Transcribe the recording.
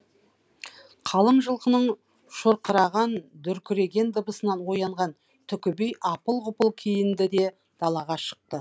қалың жылқының шұрқыраған дүркіреген дыбысынан оянған түкіби апыл ғұпыл киінді де далаға шықты